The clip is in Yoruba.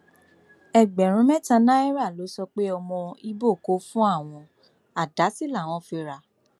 ẹgbẹrún mẹta náírà ló sọ pé ọmọ ibo kò fún àwọn àdá sí làwọn fi rà